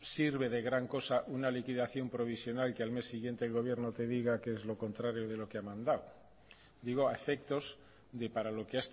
sirve de gran cosa una liquidación provisional y que al mes siguiente el gobierno te diga que es lo contrario de lo que ha mandado digo a efectos de para lo que